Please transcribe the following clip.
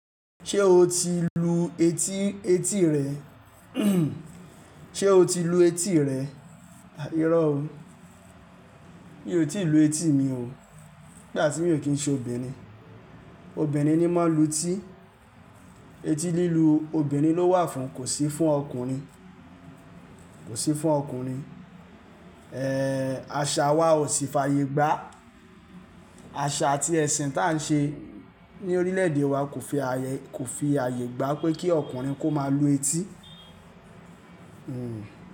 Ṣé o ti lu etí, etí rẹ? Ṣé o ti lu etí rẹ? À ìró o, mi ò tí ì lu etí mi o. Nígbà tí mi ò kí ń ṣe obìnrin. Obìnrin ni máa ń lu etí. Eti lílu obìnrin ló wà fún, kò sì fún ọkùnrin, kò sì fún ọkùnrin. Àṣà wa ò sì fi àyè gbá. Àṣà àti ẹ̀sìn tá ń ṣe ní orílẹ̀-èdè wa kò fi àyè, kò fi àyè gbà pé kí ọkùnrin kó má lu etí.